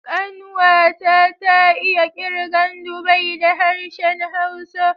Ƙanwa ta, ta iya kirgan dubai da harshen Hausa.